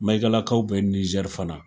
Maigalakaw bɛ Niger fana .